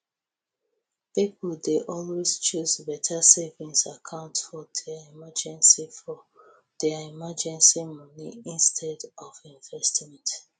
pipo dey always choose beta savings account for dia emergency for dia emergency moni instead of investment